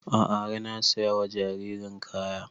A'a har na saya wa jaririn kaya